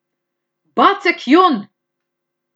Bacek Jon!